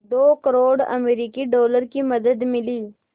दो करोड़ अमरिकी डॉलर की मदद मिली